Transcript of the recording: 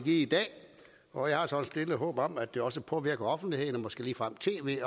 i dag og jeg har så et stille håb om at det også påvirker offentligheden og måske ligefrem tv